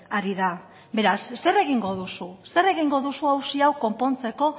ari da beraz zer egingo duzu zer egingo duzu auzi hau konpontzeko